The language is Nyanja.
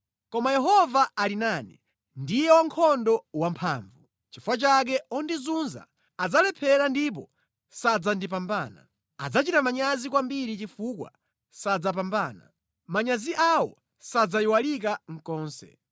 Koma Yehova ali nane, ndiye wankhondo wamphamvu. Nʼchifukwa chake ondizunza adzalephera ndipo sadzandipambana. Adzachita manyazi kwambiri chifukwa sadzapambana. Manyazi awo sadzayiwalika konse.